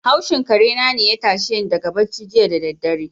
Haushin karena ne ya tashe ni daga barci jiya da daddare.